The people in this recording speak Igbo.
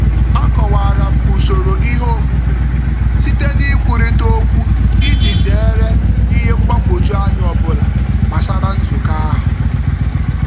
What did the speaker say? A kọwara m usoro ihe omume m site n'ikwurita okwu iji zeere ihe mgbagwojuanya ọbụla gbasara nzukọ ahụ.